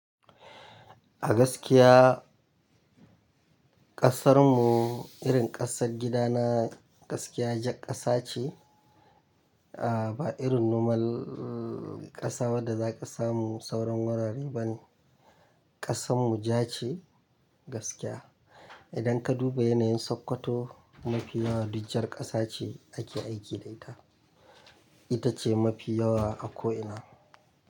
Gaskiya ƙasar mu irin ƙasar gida na gaskiya jakasa ce, ah ba irin nomal ƙasa wadda za ka samu sauran wurare ba ne. Ƙasan mu ja ce gaskiya. Idan ka duba yanayin Sokoto mafi yawa duk jar ƙasa ce ake aiki da ita. Ita ce mafi yawa a ko'ina.